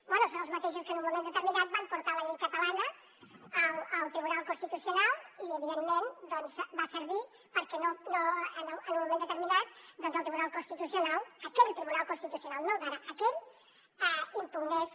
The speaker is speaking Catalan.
bé són els mateixos que en un moment de terminat van portar la llei catalana al tribunal constitucional i evidentment va servir perquè en un moment determinat el tribunal constitucional aquell tribunal constitucional no el d’ara aquell impugnés